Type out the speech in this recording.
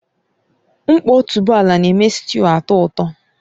Nkpo otuboala na-eme sịtịụ atọ ụtọ